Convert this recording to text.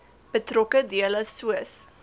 betrokke dele soos